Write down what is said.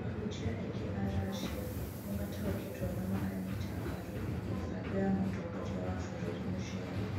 Ahunjia aingĩ a Russia nĩ mataũkĩirwo na makanyĩta mbaru mĩbango ya Mũtongoria wa bũrũri Muchemi.